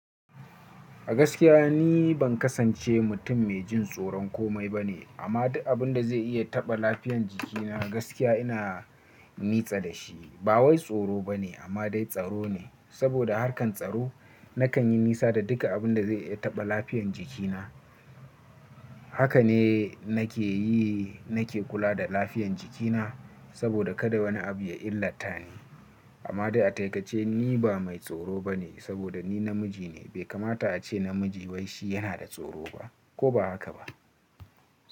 A gaskiya ni ban kasance mutum mai jin tsoron komai ba ne, amma duk abin da zai iya taɓa lafiyan jikina gaskiya ina nitsa da shi. Ba wai tsoro ba ne amma dai tsaro ne, saboda harkan tsaro nakan yi nisa da duka abin da zai iya taɓa lafiyan jikina. Haka ne nake yi, nake kula da lafiyan jikina saboda kada wani abu ya illata ni. Amma dai a taikace ni ba mai tsoro ba ne saboda ni namiji ne. Bai kamata a ce namiji wai shi yana da tsoro ba, ko ba haka ba.